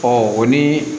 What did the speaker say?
o ni